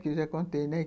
Que eu já contei, né?